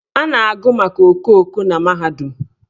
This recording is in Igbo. A na-agụ maka okooko na mahadum.